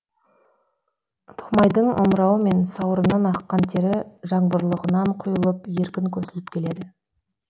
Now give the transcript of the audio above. томайдың омырауы мен сауырынан аққан тері жаңбырлығынан құйылып еркін көсіліп келеді